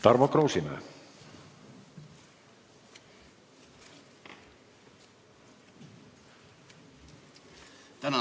Tarmo Kruusimäe.